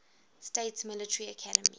states military academy